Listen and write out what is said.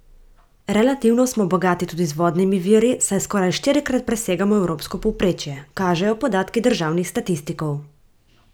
Relativno smo bogati tudi z vodnimi viri, saj skoraj štirikrat presegamo evropsko povprečje, kažejo podatki državnih statistikov.